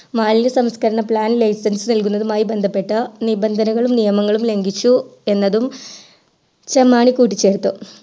സംസ്ക്കരണ plan license നൽകുന്നതുമായി ബന്ധപെട്ടു നിഭാധനങ്ങളും നിയമങ്ങളും ലഘിച്ചു എന്നതും ചെമ്മാണി കൂട്ടിച്ചേർത്തു